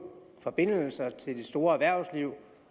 forbindelser til det store erhvervsliv